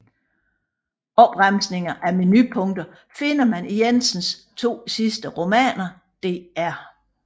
Opremsninger af menupunkter finder man i Jensens to sidste romaner Dr